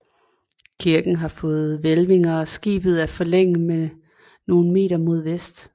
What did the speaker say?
Kirken har fået hvælvinger og skibet er forlænget nogle meter mod vest